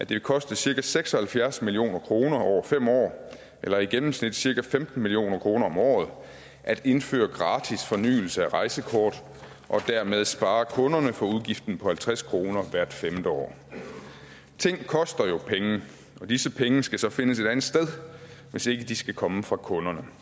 vil koste cirka seks og halvfjerds million kroner over fem år eller i gennemsnit cirka femten million kroner om året at indføre gratis fornyelse af rejsekortet og dermed spare kunderne for udgiften på halvtreds kroner hvert femte år ting koster jo penge og disse penge skal så findes et andet sted hvis ikke de skal komme fra kunderne